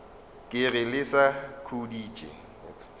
ke re le sa khuditše